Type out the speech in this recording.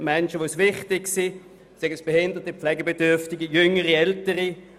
Es sind Menschen, die uns wichtig sind, seien es Behinderte, Pflegebedürftige, Jüngere und Ältere.